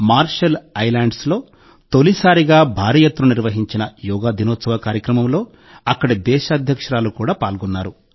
martial ఐలాండ్స్లో తొలిసారిగా భారీ ఎత్తున నిర్వహించిన యోగా దినోత్సవ కార్యక్రమంలో అక్కడి దేశ అధ్యక్షురాలు కూడా పాల్గొన్నారు